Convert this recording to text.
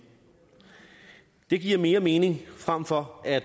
det giver mere mening frem for at